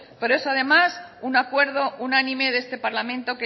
pero es además un acuerdo unánime de este parlamento